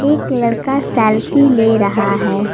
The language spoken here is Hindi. एक लड़का सेल्फी ले रहा है।